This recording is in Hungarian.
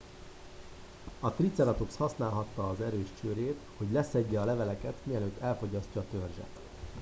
a triceratops használhatta az erős csőrét hogy leszedje a leveleket mielőtt elfogyasztja a törzset